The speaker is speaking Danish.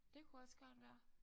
Det kunne også godt være